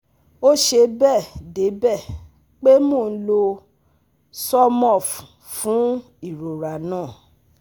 Ó ṣe bẹẹ debẹ́ pé mo n lo Zormorph fún irora naa